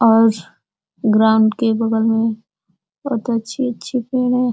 और ग्राउंड के बगल में बहोत अच्छी अच्छी पेड़ हैं।